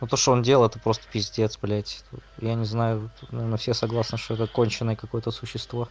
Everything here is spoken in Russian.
то что он делал это просто пиздец блядь я не знаю наверно все согласные что это конченный какой-то существо